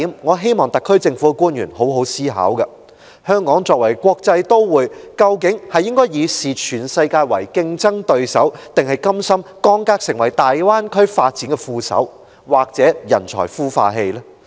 我希望特區政府的官員好好思考其中一點：香港作為國際都會，究竟應該視全世界為競爭對手，還是甘心降格成為大灣區發展的副手，或"人才孵化器"？